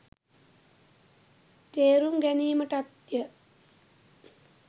තේරුම් ගැනීමටත්ය.